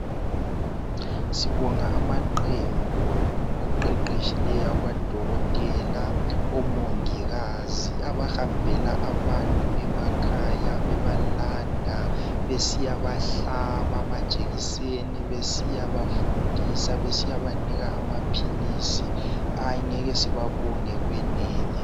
Sibonga amaqembu oqeqetshileyo odokotela, omongikazi abahambela abantu emakhaya bebalanda besiya bahlaba amajekiseni, besiyabafundisa , besiya banika amaphilisi angeke sibabonge kwenele.